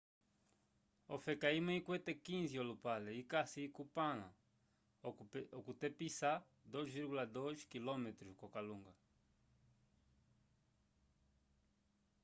ofeka imwe ikwete 15 olupale ikasi kupala okutepisa 2,2 km ko kalunga